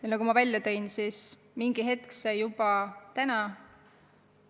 Ja nagu ma välja tõin, see mingi hetk võiks olla juba täna.